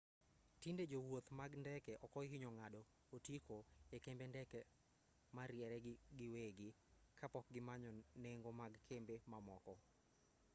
tinde jowuoth mag ndeke okohinyo ng'ado otiko e kembe ndeke moriere giwegi kapok gimanyo nengo mag kembe mamoko